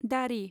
दारि